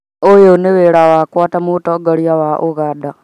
Ũyũ nĩ wĩra wakwa ta Mũtongoria wa Uganda.